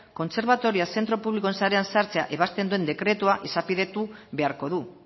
kontserbatorioa zentro publikoen sarean sartzea ebazten duen dekretua izapidetu beharko du